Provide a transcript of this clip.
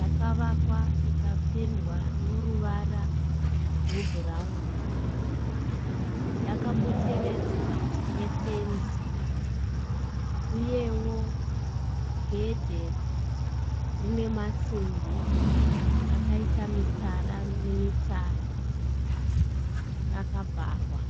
Yakavakwa ikapendwa noruvara rwebhurauni. Yakapoteredzwa nefenzi uyewo gedhe rinemasimbi akaita mitsara nemitsara, rakavharwa.